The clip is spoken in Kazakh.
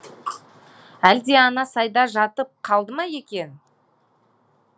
әлде ана сайда жатып қалды ма екен